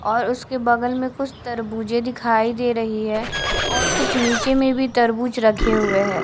और उसके बगल में कुछ तरबूजें दिखाई दे रही है और कुछ नीचे में भी तरबूज रखे हुए हैं।